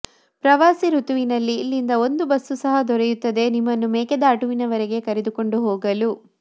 ಪ್ರವಾಸಿ ಋತುವಿನಲ್ಲಿ ಇಲ್ಲಿಂದ ಒಂದು ಬಸ್ಸು ಸಹ ದೊರೆಯುತ್ತದೆ ನಿಮ್ಮನ್ನು ಮೇಕೆದಾಟುವಿನವರೆಗೆ ಕರೆದುಕೊಂಡು ಹೋಗಲು